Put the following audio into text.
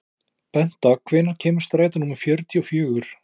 Benta, hvenær kemur strætó númer fjörutíu og fjögur?